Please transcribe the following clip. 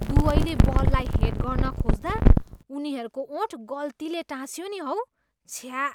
दुवैले बललाई हेड गर्न खोज्दा उनीहरूको ओठ गल्तीले टाँसियो नि हौ। छ्या!